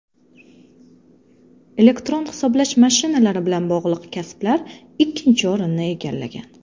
Elektron hisoblash mashinalari bilan bog‘liq kasblar ikkinchi o‘rinni egallagan.